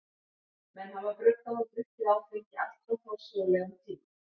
Menn hafa bruggað og drukkið áfengi allt frá forsögulegum tíma.